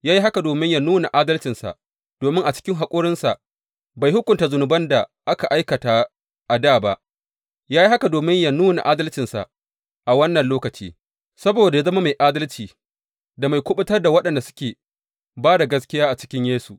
Ya yi haka domin yă nuna adalcinsa, domin a cikin haƙurinsa bai hukunta zunuban da aka aikata a dā ba ya yi haka domin yă nuna adalcinsa a wannan lokaci, saboda yă zama mai adalci da mai kuɓutar da waɗanda suke ba da gaskiya a cikin Yesu.